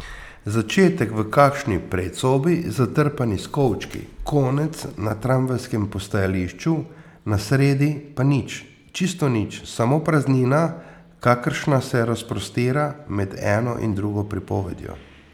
Začetek v kakšni predsobi, zatrpani s kovčki, konec na tramvajskem postajališču, na sredi pa nič, čisto nič, samo praznina, kakršna se razprostira med eno in drugo pripovedjo.